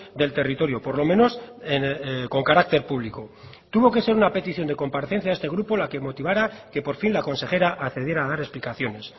del territorio por lo menos con carácter público tuvo que ser una petición de comparecencia de este grupo la que motivara que por fin la consejera accediera a dar explicaciones